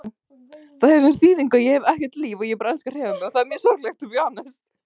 Nú varstu kosinn íþróttamaður Árborgar á dögunum, hefur það einhverja þýðingu fyrir þig?